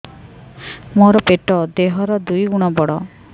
ମୋର ପେଟ ଦେହ ର ଦୁଇ ଗୁଣ ବଡ